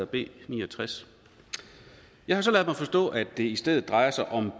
b 69 jeg har så forstået at det i stedet drejer sig om